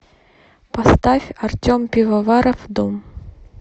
поставь артем пивоваров дом